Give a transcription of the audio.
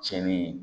Cɛnni ye